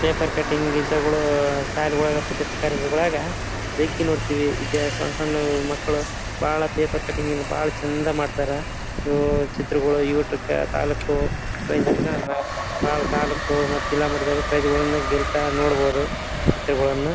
paper cutting ಇಂಥವುಗಳು ಶಾಲೆಗಳು ಪ್ರತಿಭಾ ಕಾರಂಜಿಗಳಗ ಬೇಕಿ ನೋಡ್ತಿವಿ ಸಣ್ಣ ಸಣ್ಣ ಮಕ್ಕಳು ಬಹಳ ಪೇಪರ್ ಕಟ್ಟಿಂಗ್ ಇಂದ ಬಹಳ ಚೆಂದ ಮಾಡ್ತಾರಾ ಇವು ಚಿತ್ರಗಳು ತಾಲೂಕು ಜಿಲ್ಲಾ ಮಟ್ಟದಾಗ ಪ್ರೈಸೆಗಳನ್ನು